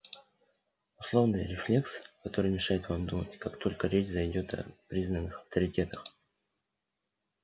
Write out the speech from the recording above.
условный рефлекс который мешает вам думать как только речь зайдёт о признанных авторитетах